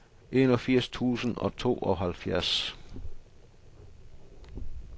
enogfirs tusind og tooghalvfjerds